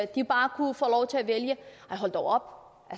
de bare kunne få lov til at vælge nej hold dog